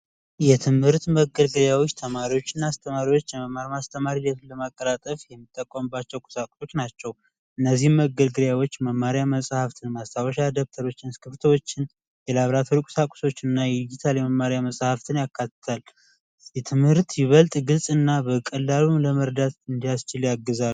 የትምህርት መገልገያዎች ተማሪዎች እና አስተማሪዎች የመማር ማስተማር ሂደትን ለማቀላጠፍ የሚጠቀሙት ቁሳቁሶች ናቸው እነዚህን መገልገያዎች መማሪያ መፃፍትን ማስታወሻ ደብተሮች እስክርቢቶችን ዲጂታል የመማሪያ መጽሐፍትን ያካትታል ትምህርትን የበለጠ ግልና በቀላሉ ለመረዳት ያስችላል ያግዛል።